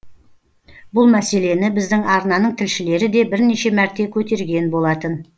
бұл мәселені біздің арнаның тілшілері де бірнеше мәрте көтерген болатын